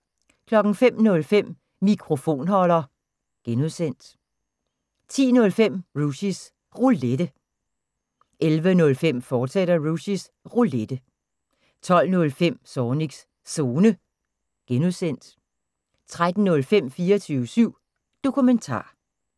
05:05: Mikrofonholder (G) 10:05: Rushys Roulette 11:05: Rushys Roulette, fortsat 12:05: Zornigs Zone (G) 13:05: 24syv Dokumentar